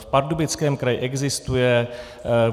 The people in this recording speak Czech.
V Pardubickém kraji existuje.